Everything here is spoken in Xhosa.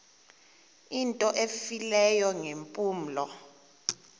into efileyo ngeempumlo